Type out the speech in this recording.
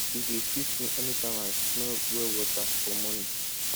e dey sweet me anytime i smell well water for morning